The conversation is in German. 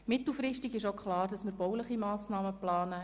Es ist auch klar, dass wir mittelfristig bauliche Massnahmen planen.